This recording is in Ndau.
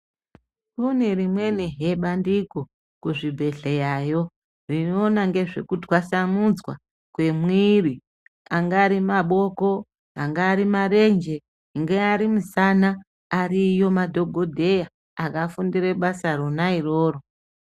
Kunerimweni he bandiko kuzvibhedhleya yo rinoona ngezveku twasamudzwa kwemwiiri angari maboko angari marenje ungari musana ariyo madhokodheya akafundire basa rona iroro